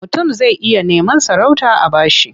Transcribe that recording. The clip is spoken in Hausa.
Mutum zai iya neman sarauta a ba shi.